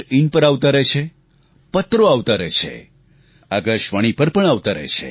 in પર આવતા રહે છે પત્રોથી આવતા રહે છે આકાશવાણી પર પણ આવતા રહે છે